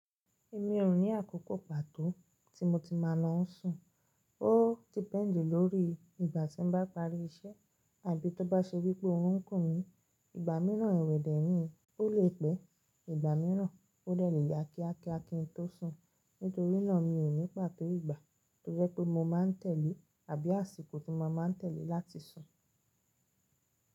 Èmi ò ní àkókò pàtó tí mo ti máa lọ sùn. Ó di pẹ́ńdì lórí ìgbà tí mo bá parí iṣẹ́ àbí tó bá ṣe wípé ó ń kùn mí. Ìgbà mìíràn, ìwẹdẹ rìn ó le pẹ́. Ìgbà mìíràn ó delè ya kíákíá kí n tó sùn. Nítorínà mi ò ní pàtó ìgbà tó jẹ́ pé mo máa tẹ̀lé àbí àsìkò tí mo máa tẹ̀lé láti sùn.